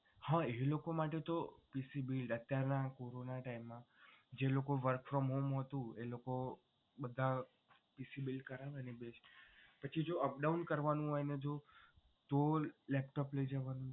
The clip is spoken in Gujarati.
હા એ લોકો માટે તો PC build corona time માં એ લોકો work from home હતું એ લોકો બધા PC build કરાવે ને એ best પછી જો અપ ડાઉન કરવાનું હોય જો તો laptop લઈ જવાનું હોય તો